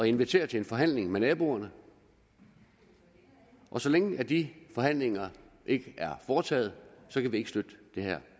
invitere til forhandlinger med naboerne og så længe de forhandlinger ikke er foretaget kan vi ikke støtte det her